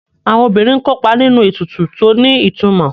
Àwọn obìnrin ń kópa nínú ètùtù tó ní ìtumò